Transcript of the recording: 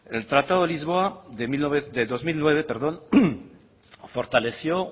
el tratado de lisboa de dos mil nueve fortaleció